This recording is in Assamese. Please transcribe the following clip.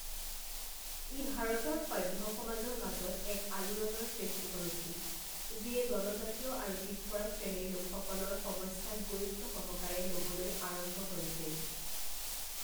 ই ভাৰতৰ সভ্য সমাজৰ মাজত এক আলোড়নৰ সৃষ্টি কৰিছিল, যিয়ে জনজাতীয় আৰু পিছপৰা শ্ৰেণীৰ লোকসকলৰ সমস্যাক গুৰুত্বসহকাৰে ল'বলৈ আৰম্ভ কৰিছিল।